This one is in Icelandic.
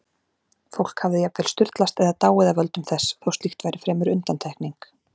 Fólk hafði jafnvel sturlast eða dáið af völdum þess, þó slíkt væri fremur undantekning.